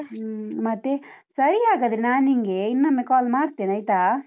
ಹ್ಮ್ ಮತ್ತೆ, ಸರಿ ಹಾಗಾದ್ರೆ ನಾನ್ನಿನ್ಗೆ ಇನ್ನೊಮ್ಮೆ call ಮಾಡ್ತೇನೆ ಆಯ್ತಾ?